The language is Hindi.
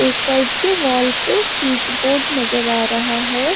एक साइड के वॉल पे स्विच बोर्ड नजर आ रहा है।